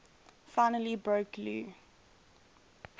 finally broke lou